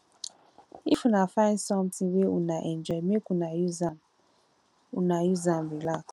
if una find sometin wey una enjoy make una use am una use am relax